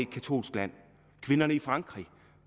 et katolsk land kvinderne i frankrig